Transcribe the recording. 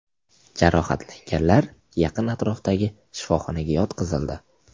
Jarohatlanganlar yaqin atrofdagi shifoxonaga yotqizildi.